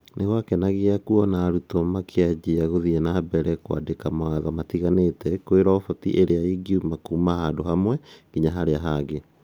Nĩgwakenagia kuona arutwo makĩanjia gũthiĩ na mbere na kuandika mawatho matiganĩte kwĩ roboti ũrĩa ïngiuma kuma handũhamwe nginya harĩa hangĩ